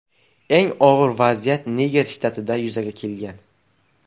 Eng og‘ir vaziyat Niger shtatida yuzaga kelgan.